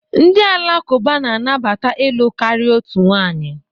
Ndị Alakụba na-anabata ịlụ karịa otu nwanyị.